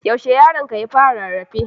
When did you baby start crawling?